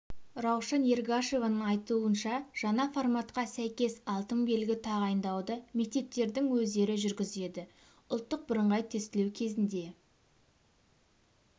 раушан ергашеваның айтуынша жаңа форматқа сәйкес алтын белгі тағайындауды мектептердің өздері жүргізеді ұлттық бірыңғай тестілеу кезінде